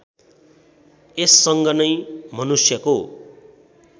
यससँग नै मनुष्यको